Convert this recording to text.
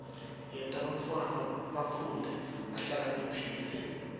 yenta bantfwana bakhule bahlakaniphile